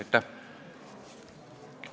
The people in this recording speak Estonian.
Aitäh!